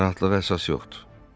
Narahatlığa əsas yoxdur.